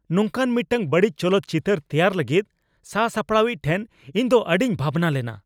ᱱᱚᱝᱠᱟᱱ ᱢᱤᱫᱴᱟᱝ ᱵᱟᱹᱲᱤᱡ ᱪᱚᱞᱚᱛ ᱪᱤᱛᱟᱹᱨ ᱛᱮᱭᱟᱨ ᱞᱟᱹᱜᱤᱫ ᱥᱟᱥᱟᱯᱲᱟᱣᱤᱡ ᱴᱷᱮᱱ ᱤᱧ ᱫᱚ ᱟᱹᱰᱤᱧ ᱵᱷᱟᱵᱱᱟᱞᱮᱱᱟ ᱾